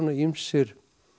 ýmsir